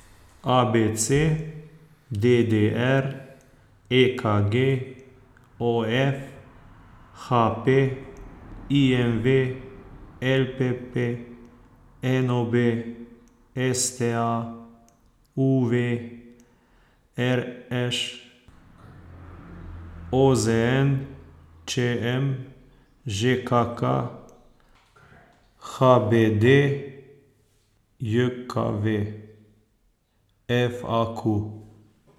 A B C; D D R; E K G; O F; H P; I M V; L P P; N O B; S T A; U V; R Š; O Z N; Č M; Ž K K; H B D J K V; F A Q.